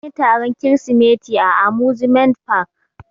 Anyi taron kirisimeti a amusement park.